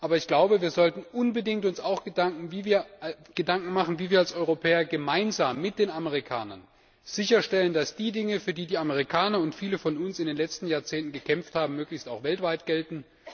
Aber wir sollten uns unbedingt auch Gedanken darüber machen, wie wir als Europäer gemeinsam mit den Amerikanern sicherstellen, dass die Dinge, für die die Amerikaner und viele von uns in den letzten Jahrzehnten gekämpft haben, möglichst auch weltweit gelten.